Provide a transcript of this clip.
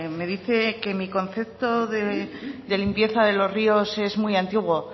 me dice que mi concepto de limpieza de los ríos es muy antiguo